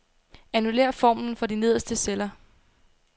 Annullér formlen for de nederste celler.